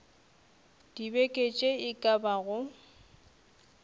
dibeke tše e ka bago